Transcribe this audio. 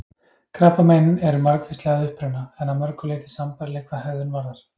Krabbamein eru margvísleg að uppruna, en að mörgu leyti sambærileg hvað hegðun varðar.